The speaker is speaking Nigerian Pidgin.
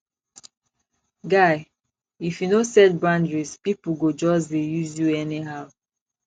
guy if you no set boundaries pipo go just dey use you anyhow